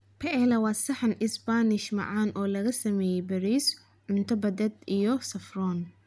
Paella waa saxan Isbaanish macaan oo lagu sameeyay bariis, cunto badeed iyo saffron.